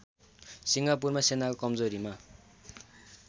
सिङ्गापुरमा सेनाको कमजोरीमा